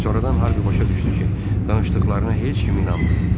Sonradan Harvi başa düşdü ki, danışdıqlarına heç kim inanmır.